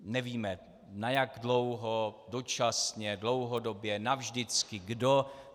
Nevíme, na jak dlouho, dočasně, dlouhodobě, navždycky, kdo.